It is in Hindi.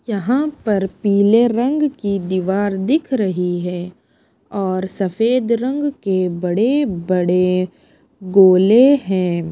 यहाँ पर पीले रंग की दीवार दिख रही है और सफेद रंग के बड़े-बड़े गोले हैं।